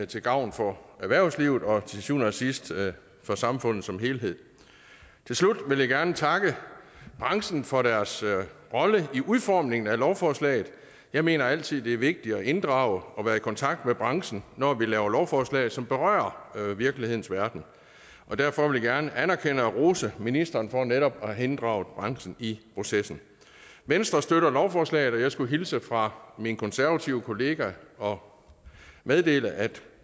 til gavn for erhvervslivet og til syvende og sidste for samfundet som helhed til slut vil jeg gerne takke branchen for deres rolle i udformningen af lovforslaget jeg mener altid det er vigtigt at inddrage og være i kontakt med branchen når vi laver lovforslag som berører virkelighedens verden derfor vil jeg gerne anerkende og rose ministeren for netop at have inddraget branchen i processen venstre støtter lovforslaget og jeg skulle hilse fra min konservative kollega og meddele at